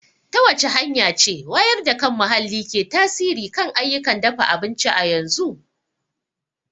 Ta wace hanya ce wayar da kan muhalli ke tasiri kan ayyukan dafa abinci a yanzu?